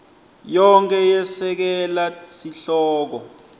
yonkhe yesekela sihloko